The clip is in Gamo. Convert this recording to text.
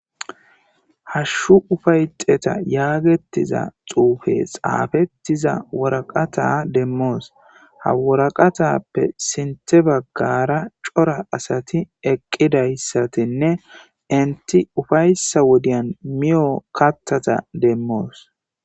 hashshu ufayxeta yaagetiza xuufe xaafettiza woraqata demmoos haworaqatappe sinte baggara cora asati eqqidayssatinne inti ufayssa wodiyan miyo kattata demmoos